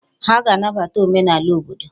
Ha ga-anabata omenala obodo